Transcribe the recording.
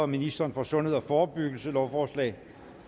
ministeren for sundhed og forebyggelse lovforslag